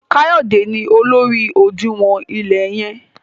Kayode ní olórí odinwo ile yen.